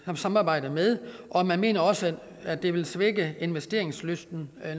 samarbejder med og man mener også at det vil svække investeringslysten